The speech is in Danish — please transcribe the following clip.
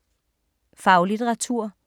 Faglitteratur